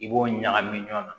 I b'o ɲagami ɲɔgɔn na